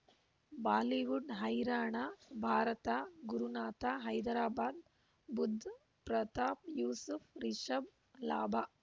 Bollywood ಹೈರಾಣ ಭಾರತ ಗುರುನಾಥ ಹೈದರಾಬಾದ್ ಬುಧ್ ಪ್ರತಾಪ್ ಯೂಸುಫ್ ರಿಷಬ್ ಲಾಭ